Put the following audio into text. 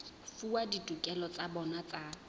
fuwa ditokelo tsa bona tsa